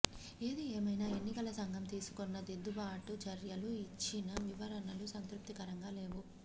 ఏది ఏమైనా ఎన్నికల సంఘం తీసుకున్న దిద్దుబాటు చర్యలు ఇచ్చిన వివరణలు సంతృప్తికరంగా లేవు